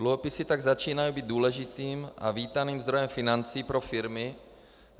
Dluhopisy tak začínají být důležitým a vítaným zdrojem financí pro firmy.